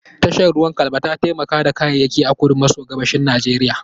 Tashar ruwan Calabar ta taimaka da kayayyaki a kudu maso gabashin Najeriya.